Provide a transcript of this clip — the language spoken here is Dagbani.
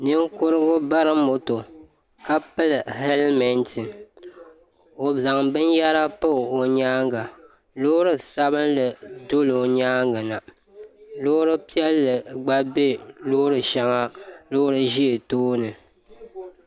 Ninkurugu bari moto ka pili helimenti o zaŋ binyɛra pa o nyaanga loori sabinli doli o nyaanga na loori piɛli gba be loori shɛŋa ŋun ʒɛ tooni.